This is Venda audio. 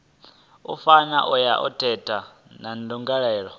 fana na ya theta ndangulo